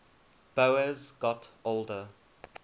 boas got older